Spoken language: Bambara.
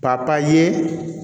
Ka papye